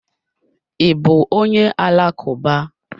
I bú onye alakuba?